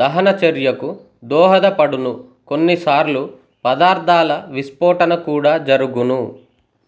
దహన చర్యకు దోహద పడునుకొన్ని సార్లు పదార్థాల విస్పొటన కూడా జరుగును